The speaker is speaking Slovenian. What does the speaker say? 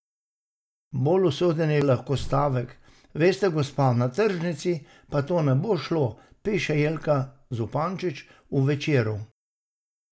Bolj usoden je lahko stavek: "Veste, gospa, na tržnici pa to ne bo šlo," piše Jelka Zupanič v Večeru.